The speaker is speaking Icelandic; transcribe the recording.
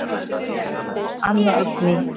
Þín dóttir, Anna Oddný.